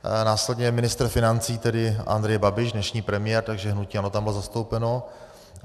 Následně ministr financí, tedy Andrej Babiš, dnešní premiér, takže hnutí ANO tam bylo zastoupeno.